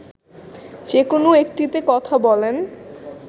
যেকোন একটিতে কথা বলেন